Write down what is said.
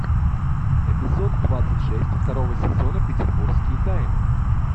эпизод двадцать шесть второго сезона петербургские тайны